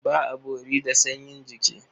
Ba a bori da sanyin jiki.